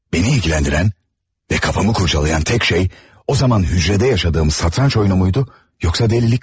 Beni ilgiləndirən və kafamı kurcalayan tək şey o zaman hücredə yaşadığım satranç oyunu muydu, yoxsa delilik mi?